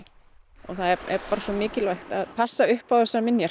og það er bara svo mikilvægt að passa upp á þessar minjar